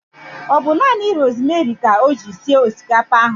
Ọ bu nanị rosmeri ka o ji sie osikapa ahụ